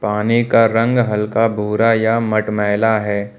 पानी का रंग हल्का भूरा या मटमैला है।